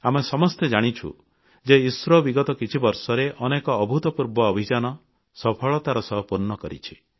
ଆମେ ସମସ୍ତେ ଜାଣିଛୁ ଯେ ଇସ୍ରୋ ବିଗତ କିଛିବର୍ଷରେ ଅନେକ ଅଦ୍ଭୁତପୂର୍ବ ଅଭିଯାନ ସଫଳତାର ସହ ପୂର୍ଣ୍ଣ କରିଛି